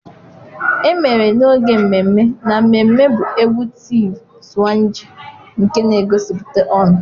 Emere n'oge mmemme na mmemme bụ égwú Tịv Swange nke na-egosipụta ọṅụ.